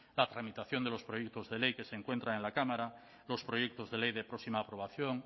la tramitación de los proyectos de ley que se encuentran en la cámara los proyectos de ley de próxima aprobación